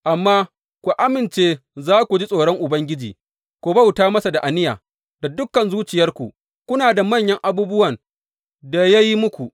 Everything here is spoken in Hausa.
Amma ku amince za ku ji tsoron Ubangiji, ku bauta masa da aniya da dukan zuciyarku, kuna da manyan abubuwan da ya yi muku.